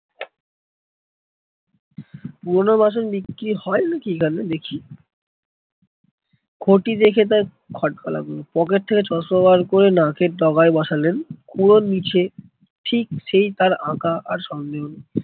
পুরোনো বাসন বিক্রি হয় নাকি এখানে? দেখি। ঘটি দেখে তার খটকা লাগলো, পকেট থেকে চশমা বার করে নাকের ডগায় বসলেন, খুড়োর নিচে ঠিক সেই তার আঁকা আর সন্দেহ নেই।